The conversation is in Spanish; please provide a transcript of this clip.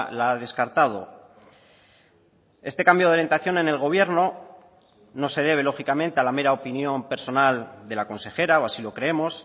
la ha descartado este cambio de orientación en el gobierno no se debe lógicamente a la mera opinión personal de la consejera o así lo creemos